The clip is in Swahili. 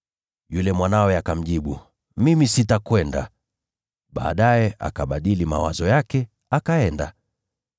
“Yule mwanawe akamjibu ‘Mimi sitakwenda.’ Baadaye akabadili mawazo yake akaenda.